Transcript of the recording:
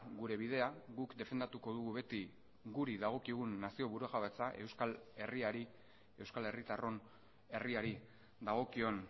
gure bidea guk defendatuko dugu beti guri dagokigun nazio burujabetza euskal herriari euskal herritarron herriari dagokion